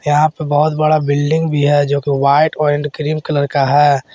यहां पे बहुत बड़ा बिल्डिंग भी जोकि वाइट एंड क्रीम कलर का है।